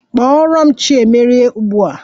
Kpọrọ m Chiemerie ugbu a!